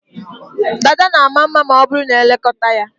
Dada na ama mma ma ọ bụrụ na e lekọta ya.